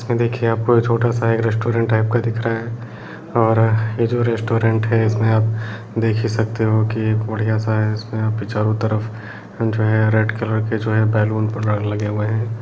इसमें देखिए आपको एक छोटा-सा एक रेस्टोरेंट टाइप का दिख रहा है और ये जो रेस्टोरेंट है इसमें आप देख ही सकते हो की बढ़िया सा है इसमें आप चारों तरफ रेड कलर के जो है बैलून लगे हुए हैं।